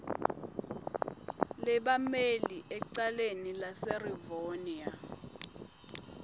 lebammeli ecaleni laserivonia